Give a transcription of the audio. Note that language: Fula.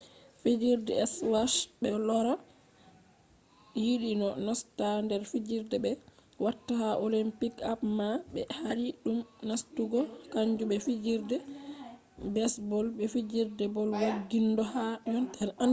fijerde skwash be rola yiɗi no nasta nder fijerde je ɓe watta ha olimpiks amma ɓe haɗi dum nastugo. kanju be fijerde besbol be fijerde bol waggiɗinde ha yontere 2005